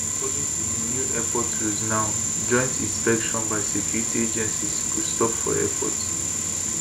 according to di new airport rules now joint inspection by security agencies go stop for airport